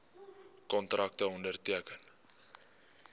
kontrakte onderteken